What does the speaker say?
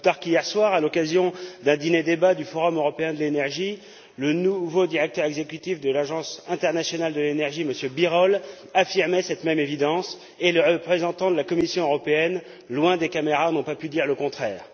Pas plus tard qu'hier soir, à l'occasion d'un dîner débat du Forum européen de l'énergie, le nouveau directeur exécutif de l'Agence internationale de l'énergie, M Birol, affirmait cette même évidence, et les représentants de la Commission européenne, loin des caméras, n'ont pas pu dire le contraire.